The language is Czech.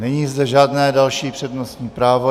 Není zde žádné další přednostní právo.